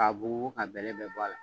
A b'oo a bɛlɛ bɛɛ bɔ a la